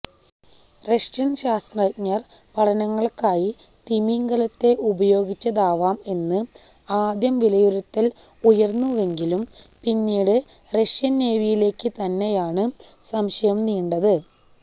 Russian ശാസ്ത്രജ്ഞര് പഠനങ്ങള്ക്കായി തിമിംഗലത്തെ ഉപയോഗിച്ചതാവാം എന്ന് ആദ്യം വിലയിരുത്തല് ഉയര്ന്നുവെങ്കിലും പിന്നീട് റഷ്യന് നേവിയിലേക്ക് തന്നെയാണ് സംശയം നീണ്ടത്